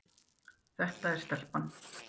Þetta er stelpan.